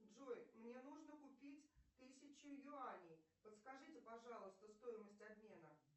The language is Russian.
джой мне нужно купить тысячу юаней подскажите пожалуйста стоимость обмена